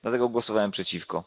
Dlatego głosowałem przeciwko.